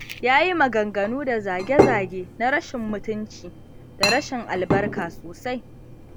Ya yi maganganu da zage-zage na rashin mutunci da rashin albarka sosai.